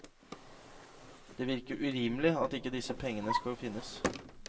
Det virker urimelig at ikke disse pengene skal finnes.